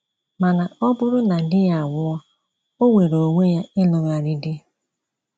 Mana, ọ bụrụ na di ya anwụọ, o nweere onwe ya ịlụgharị dị.